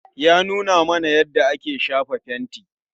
Yanuna mana yanda ake shafa fenti